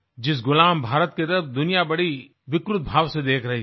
जिस गुलाम भारत की तरफ दुनिया बड़ी विकृत भाव से देख रही थी